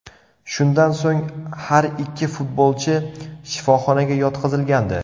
Shundan so‘ng, har ikki futbolchi shifoxonaga yotqizilgandi.